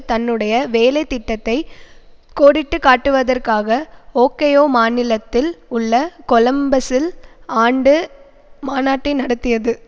தன்னுடைய வேலை திட்டத்தை கோடிட்டு காட்டுவதற்காக ஓகையோ மாநிலத்தில் உள்ள கொலம்பசில் ஆண்டு மாநாட்டை நடத்தியது